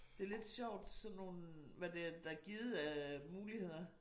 Det lidt sjovt sådan nogen hvad det der er givet af muligheder